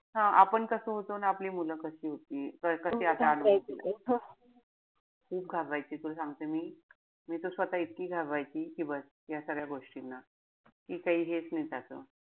हा आपण कस होतो अन आपली मुलं कशी होती. खूप घाबरायची तुला सांगते. मी त स्वतः इतकी घाबरायची कि बस ह्या सगळ्या गोष्टींना. कि काई हेच नाई त्याच्यात.